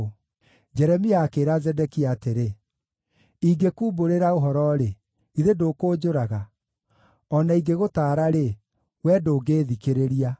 Jeremia akĩĩra Zedekia atĩrĩ, “Ingĩkuumburĩra ũhoro-rĩ, githĩ ndũkũnjũraga? O na ingĩgũtaara-rĩ, wee ndũngĩĩthikĩrĩria.”